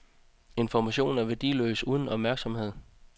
Information er værdiløs uden opmærksomhed.